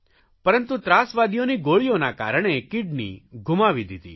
પરંતુ ત્રાસવાદીઓની ગોળીઓના કારણે કીડની ગુમાવી દીધી